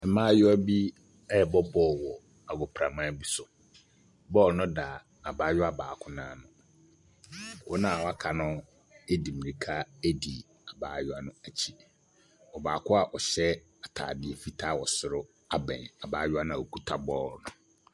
Mmayewa bi ɛrebɔ bɔɔlo wɔ agoprama bi so. Bɔɔlo no da abaayewa baako nan ho, wɔn a aka no de mirika di abaayewa no akyi. Ɔbaako a ɔhyɛ ataadeɛ fitaa wɔ soro abɛn abaayewa no a okuta bɔɔlo no.